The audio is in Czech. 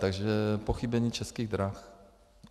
Takže pochybení Českých drah.